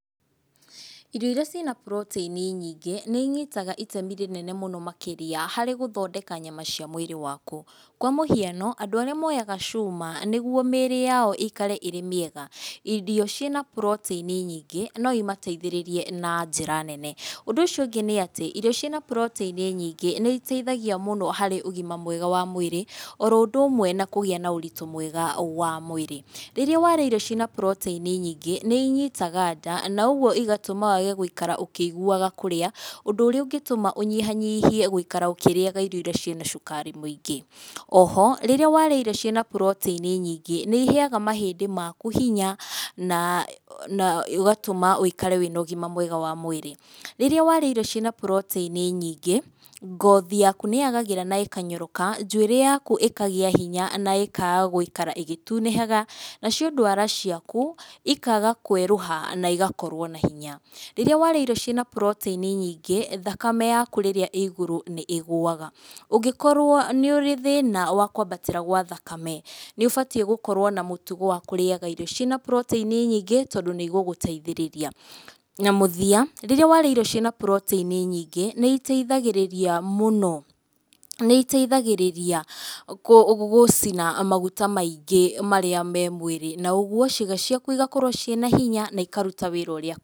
Irio iria ciĩna protein nyingĩ, nĩ inyitaga itemi rĩnene mũno makĩria harĩ gũthondeka nyama cia mwĩrĩ waku. Kwa mũhiano, andũ arĩa moyaga cuma nĩguo mĩĩrĩ yao ĩikare ĩrĩ mĩega irio ciĩna protein nyingĩ no imateithĩrĩrie na njĩra nene. Ũndũ ũcio ũngĩ nĩ atĩ, irio ciĩna protein nyingĩ nĩ iteithagia mũno harĩ ũgima mwega wa mwĩrĩ oro ũndũ ũmwe na kũgĩa na ũritũ mwega wa mwĩrĩ. Rĩrĩa warĩa irio ciĩna protein nyingĩ, nĩ inyitaga ndaa na ũguo igatũma wage gũikara ũkĩiguaga kũrĩa, ũndũ ũrĩa ũngĩtũma ũnyihanyihie gũikara ũkĩrĩaga irio iria ciĩna cukari mũingĩ. O ho rĩrĩa warĩa irio ciĩna protein nyingĩ nĩ iheaga mahĩndĩ maku hinya na, na ũgatũma wĩikare wĩna ũgima mwega wa mwĩrĩ. Rĩrĩa warĩa irio ciĩna protein nyingĩ, ngothi yaku nĩ yagagĩra na ĩkanyoroka, njuĩrĩ yaku ĩkagĩa hinya na ĩkaga gũikara ĩgĩtunĩhaga, nacio ndwara ciaku ikaga kwerũha na igakorwo na hinya. Rĩrĩa warĩa irio ciĩna protein nyingĩ thakame yaku rĩrĩa ĩĩ igũrũ nĩ ĩgũaga. Ũngĩkorwo nĩ ũrĩ thĩna wa kwambatĩra gwa thakame, nĩ ũbatiĩ gũkorwo na mũtugo wa kũrĩaga irio ciĩna protein nyingĩ tondũ nĩigũgũteithĩrĩria. Na mũthia, rĩrĩa warĩa irio ciĩna protein nyingĩ nĩ iteithagĩrĩria mũno, nĩiteithagĩrĩria kũũ, gũcina maguta maingĩ marĩa me mwĩrĩ na ũguo ciĩga ciaku igakorwo ciĩna hinya na ikaruta wĩra ũrĩa...